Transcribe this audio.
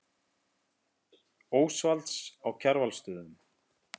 Ósvalds á Kjarvalsstöðum.